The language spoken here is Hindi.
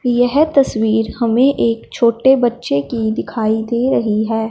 येहे तस्वीर हमें एक छोटे बच्चे की दिखाई दे रही है।